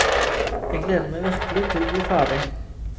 Jeg gleder meg virkelig til å bli ferdig.